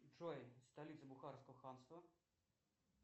джой столица бухарского ханства